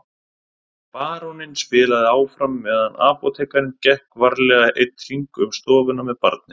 Baróninn spilaði áfram meðan apótekarinn gekk varlega einn hring um stofuna með barnið.